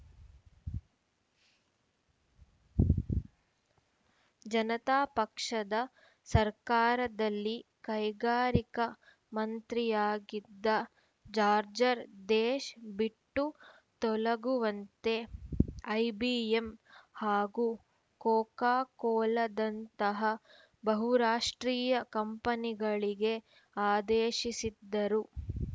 ಜನತಾ ಪಕ್ಷದ ಸರ್ಕಾರದಲ್ಲಿ ಕೈಗಾರಿಕಾ ಮಂತ್ರಿಯಾಗಿದ್ದ ಜಾರ್ಜರ್ ದೇಶ ಬಿಟ್ಟು ತೊಲಗುವಂತೆ ಐಬಿಎಂ ಹಾಗೂ ಕೋಕಾ ಕೋಲಾದಂತಹ ಬಹುರಾಷ್ಟ್ರೀಯ ಕಂಪನಿಗಳಿಗೆ ಆದೇಶಿಸಿದ್ದರು